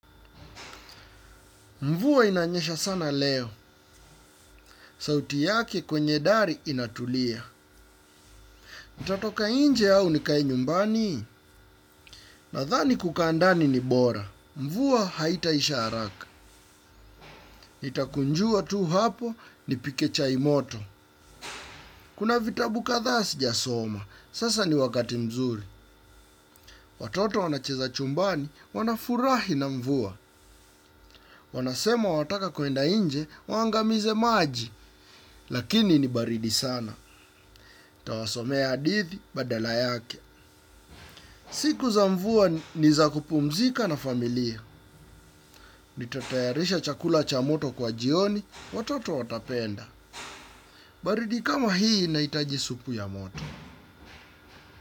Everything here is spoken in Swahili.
Mvua inanyesha sana leo. Sauti yake kwenye dari inatulia. Itatoka inje au nikae nyumbani? Nadhani kukaa ndani ni bora. Mvua haitaisha haraka. Itakunjua tu hapo nipike chai moto. Kuna vitabu kadhaa sijasoma. Sasa ni wakati mzuri. Watoto wanacheza chumbani wanafurahi na mvua. Wanasema wataka kwenda inje waangamize maji. Lakini ni baridi sana. Tawasomea hadithi badala yake. Siku za mvua ni za kupumzika na familia. Nitatayarisha chakula cha moto kwa jioni, watoto watapenda. Baridi kama hii inaitaji supu ya moto.